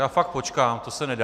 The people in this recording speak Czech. Já fakt počkám, to se nedá...